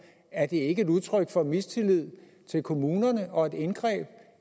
er det ikke et udtryk for mistillid til kommunerne og et indgreb